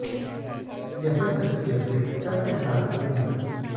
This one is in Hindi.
यहां तक की अपने पिता के साथ भी नहीं